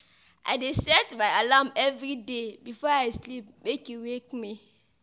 I dey set my alarm everyday before I sleep make e wake me.